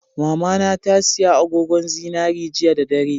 Mamana tasiya agogon zinari jiya da dare